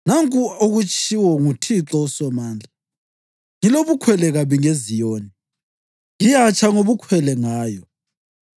Nanku okutshiwo nguThixo uSomandla: “Ngilobukhwele kabi ngeZiyoni; ngiyatsha ngobukhwele ngayo.”